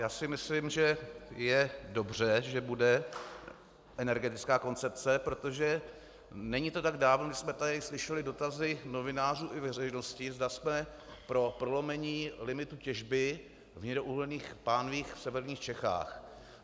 Já si myslím, že je dobře, že bude energetická koncepce, protože není to tak dávno, kdy jsme tady slyšeli dotazy novinářů i veřejnosti, zda jsme pro prolomení limitu těžby v hnědouhelných pánvích v severních Čechách.